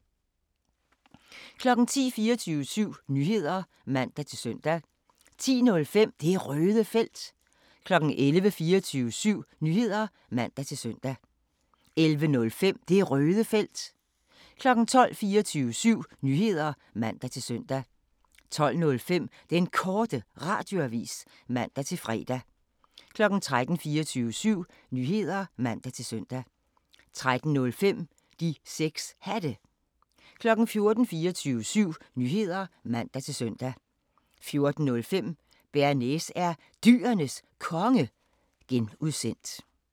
10:00: 24syv Nyheder (man-søn) 10:05: Det Røde Felt 11:00: 24syv Nyheder (man-søn) 11:05: Det Røde Felt 12:00: 24syv Nyheder (man-søn) 12:05: Den Korte Radioavis (man-fre) 13:00: 24syv Nyheder (man-søn) 13:05: De 6 Hatte 14:00: 24syv Nyheder (man-søn) 14:05: Bearnaise er Dyrenes Konge (G)